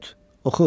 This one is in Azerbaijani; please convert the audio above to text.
Dot, oxu.